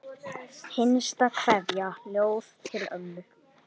Hinsta kveðja, ljóð til ömmu.